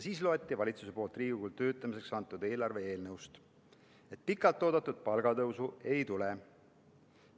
Siis loeti valitsuse poolt Riigikogule antud eelarve eelnõust, et pikalt oodatud palgatõusu ei tule.